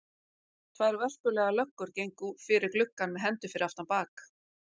Tvær vörpulegar löggur gengu fyrir gluggann með hendur fyrir aftan bak.